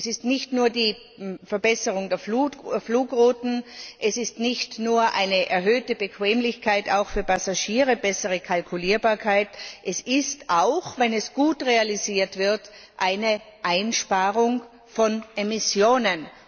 Es ist nicht nur die Verbesserung der Flugrouten, es ist nicht nur eine erhöhte Bequemlichkeit auch für Passagiere und bessere Kalkulierbarkeit, es ist auch, wenn es gut realisiert wird, eine Einsparung von Emissionen.